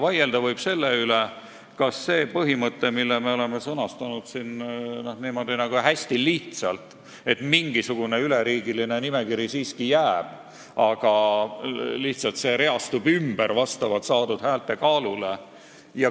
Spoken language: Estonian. Vaielda võib selle üle, kas on parim see põhimõte, mille me oleme sõnastanud siin hästi lihtsalt, nii et mingisugune üleriigiline nimekiri siiski jääb, aga kandidaadid lihtsalt reastatakse ümber saadud häälte kaalu järgi.